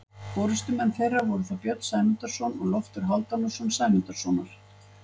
Forystumenn þeirra voru þá Björn Sæmundarson og Loftur Hálfdanarson Sæmundarsonar.